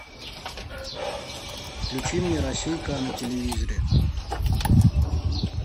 включи мне россия к на телевизоре